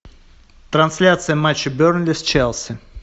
трансляция матча бернли с челси